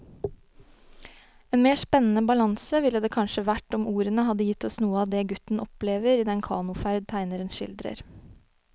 En mer spennende balanse ville det kanskje vært om ordene hadde gitt oss noe av det gutten opplever i den kanoferd tegneren skildrer.